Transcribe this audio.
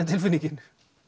tilfinningin